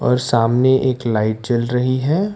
और सामने एक लाइट जल रही है।